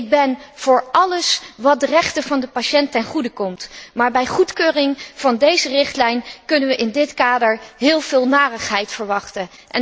Ik ben voor alles wat de rechten van de patiënt ten goede komt, maar bij goedkeuring van deze richtlijn kunnen we in dit kader heel veel narigheid verwachten